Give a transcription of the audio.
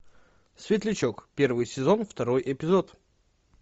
светлячок первый сезон второй эпизод